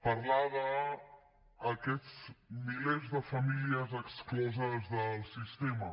parlar d’aquests milers de famílies excloses del sistema